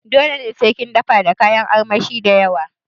Dole sai kin dafa da kayan armashi dayawa?